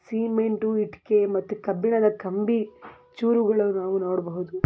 Cement ಇಟ್ಟಿಗೆ ಮತ್ತು ಕಬ್ಬಿಣದ ಕಂಬಿ ಚೂರುಗಳನ್ನು ನಾವು ನೋಡಬಹುದು.